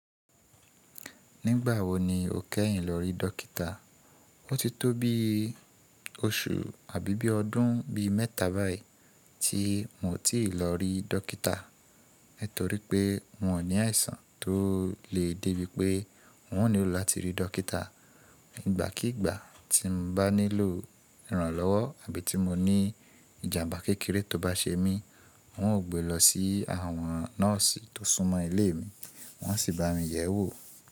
Nígbà wo ni o kẹ́yìn lọ rí dọ́kítà? Ó ti tó bí oṣù àbí bí ọdún bí mẹ́ta báyìí tí mo ti lọ rí dọ́kítà, nitorí pé ń o ò ní àìsàn tó lè dé bí pé n ò nílò láti rí dọ́kítà. Nígbàkígbà tí mo bá nílò ìrànlọ́wọ́ àbí tí mo ní ìjàmbá kékeré tó bá ṣe mí, n ó gbé lọ sí àwọn nọ́ọ̀sì tó súnmọ́ ilé mi, wọ́n á si bá mi yẹ̀ ẹ́ wò.